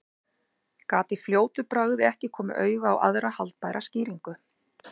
Gat í fljótu bragði ekki komið auga á aðra haldbæra skýringu.